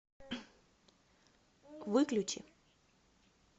выключи